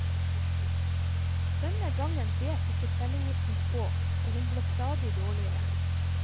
Denne gangen bet ikke cellegiften på, og hun ble stadig dårligere.